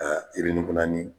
yirinikunnani